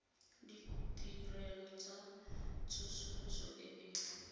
ditirelo tsa tsosoloso e e